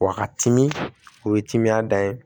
Wa ka timi o ye timiya da ye